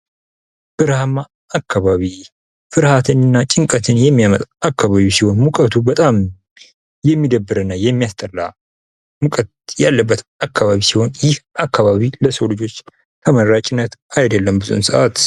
በረሀማ አካባቢ ። ፍርሀትን እና ጭንቀትን የሚያመጣ አካባቢ ሲሆን ሙቀቱ በጣም የሚደብር እና የሚያስጠላ ሙቀት ያለበት አካባቢ ሲሆን ይህ አካባቢ ለሰው ልጆች ተመራጭነት አይድለም ብዙውን ሰአት ።